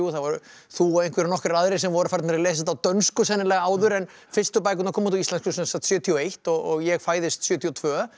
þú og nokkrir aðrir voru farnir að lesa þetta á dönsku sennilega áður en fyrstu bækurnar koma út á íslensku sjötíu og eitt og ég fæðist sjötíu og tvö